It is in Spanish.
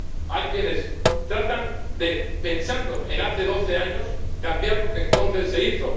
Hay quienes tratan de, pensando en hace doce años, cambiar lo que entonces se hizo.